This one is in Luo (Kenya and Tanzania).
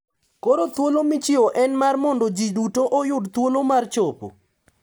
Koro thuolo michiwoni en mar mondo ji duto oyud thuolo mar chopo.